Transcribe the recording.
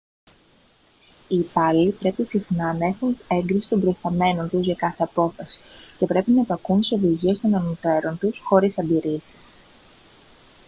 οι υπάλληλοι πρέπει συχνά να έχουν έγκριση των προϊσταμένων τους για κάθε απόφαση και πρέπει να υπακούουν στις οδηγίες των ανωτέρων τους χωρίς αντιρρήσεις